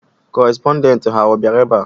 Kọrespọndent ha ọ bịara ebe a?